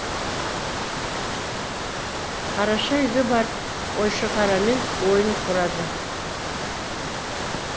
қараша үйге барып қойшықарамен ойын құрады